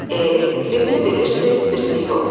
Eh, birini bilirsiz, birini yox.